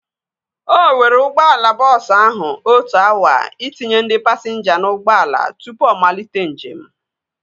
O were ụgbọala bọọsu ahụ otu awa itinye ndị pasinja na ụgbọala tụpụ ọ malite njem